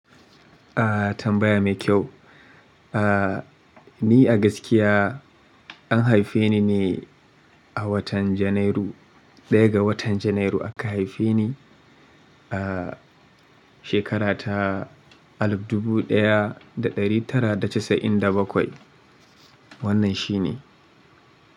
Ah tambaya mai kyau. Ah ni a gaskiya an haife ni ne a watan Janairu. Ɗaya ga watan Janairu aka haife ni a shekara ta alif dubu ɗaya da ɗari tara da casa'in da bakwai. Wannan shi ne.